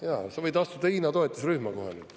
Ja sa võid astuda Hiina toetusrühma, kohalikku.